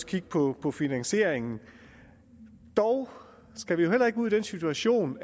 kigge på på finansieringen dog skal vi jo heller ikke ud i den situation